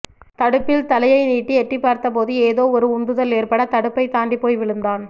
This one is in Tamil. தடுப்பில் தலையை நீட்டி எட்டிப் பார்த்தபோது ஏதோவொரு உந்துதல் ஏற்பட தடுப்பை தாண்டிப் போய் விழுந்தான்